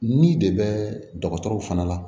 Ni de bɛ dɔgɔtɔrɔ fana la